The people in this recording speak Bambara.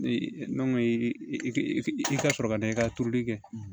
i ka sɔrɔ ka da i ka turuli kɛ